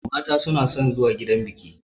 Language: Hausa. Mata na son zuwa gidan biƙi